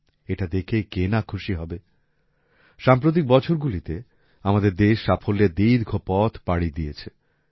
এটা দেখে কে না খুশি হবে সাম্প্রতিক বছরগুলিতে আমাদের দেশ সাফল্যের দীর্ঘ পথ পাড়ি দিয়েছে